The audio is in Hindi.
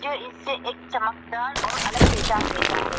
यह इससे एक चमकदार और अलग पहचान देता है।